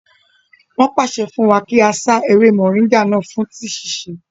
Wọ́n pàṣẹ fún wa kí á sá ewé mọ̀nríngà náà fún tíì síse